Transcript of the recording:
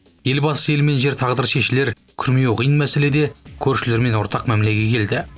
елбасы ел мен жер тағдыры шешілер күрмеуі қиын мәселеде көршілермен ортақ мәмілеге келді